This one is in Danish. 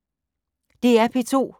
DR P2